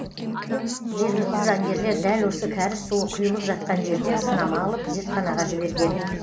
жергілікті заңгерлер дәл осы кәріз суы құйылып жатқан жерден сынама алып зертханаға жіберген